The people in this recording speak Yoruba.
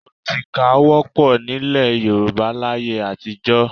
Ọtíkà wọ́pọ̀ nílẹ̀ Yorùbá láyé àtijọ́